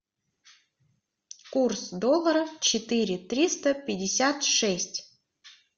курс доллара четыре триста пятьдесят шесть